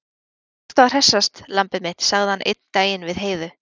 Nú ertu að hressast, lambið mitt, sagði hann einn daginn við Heiðu.